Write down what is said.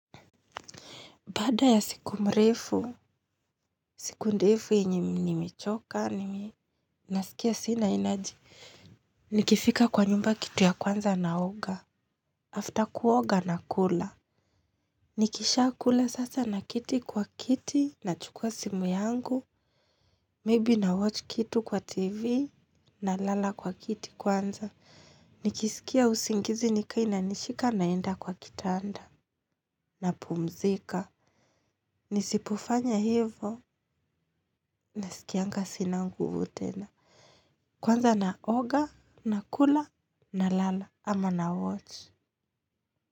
Baada ya siku mrefu, siku ndefu yenye nimechoka, nimi nasikia sina energy. Nikifika kwa nyumba kitu ya kwanza naoga. After kuoga nakula. Nikishaa kula sasa naketi kwa kiti, nachukua simu yangu, maybe na watch kitu kwa tv, nalala kwa kiti kwanza. Nikisikia usingizi nikiwa inanishika naenda kwa kitanda, napumzika. Nisipofanya hivo nasikianga sina nguvu tena. Kwanza naoga, nakula, nalala ama na watch.